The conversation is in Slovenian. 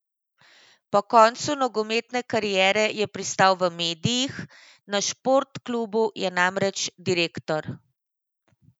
Po koncu nogometne kariere je pristal v medijih, na Sport klubu je namreč direktor.